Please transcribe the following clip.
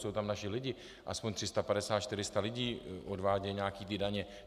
Jsou tam naši lidé, aspoň 350-400 lidí odvádí nějaké ty daně.